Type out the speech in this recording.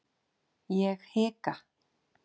Ég hika.